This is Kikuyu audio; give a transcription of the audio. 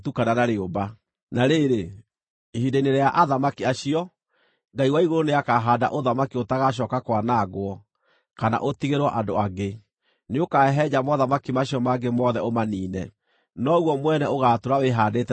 “Na rĩrĩ, ihinda-inĩ rĩa athamaki acio, Ngai wa igũrũ nĩakahaanda ũthamaki ũtagacooka kwanangwo, kana ũtigĩrwo andũ angĩ. Nĩũkahehenja mothamaki macio mangĩ mothe ũmaniine, noguo mwene ũgaatũũra wĩhaandĩte tene na tene.